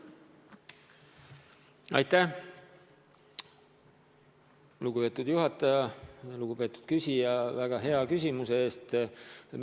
Aitäh, lugupeetud küsija, väga hea küsimuse eest!